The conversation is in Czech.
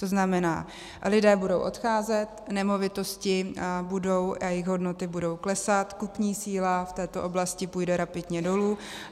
To znamená, lidé budou odcházet, nemovitosti a jejich hodnoty budou klesat, kupní síla v této oblasti půjde rapidně dolů.